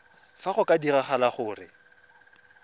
fa go ka diragala gore